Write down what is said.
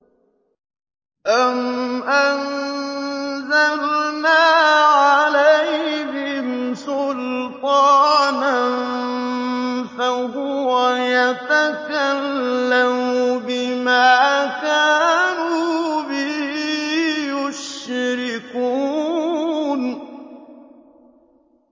أَمْ أَنزَلْنَا عَلَيْهِمْ سُلْطَانًا فَهُوَ يَتَكَلَّمُ بِمَا كَانُوا بِهِ يُشْرِكُونَ